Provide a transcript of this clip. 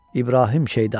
İbrahim Şeyda.